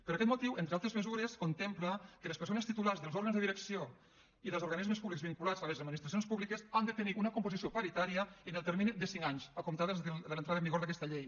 per aquest motiu entre altres mesures contempla que les persones titulars dels òrgans de direcció i dels organismes públics vinculats a les administracions públiques han de tenir una composició paritària en el termini de cinc anys a comptar des de l’entrada en vigor d’aquesta llei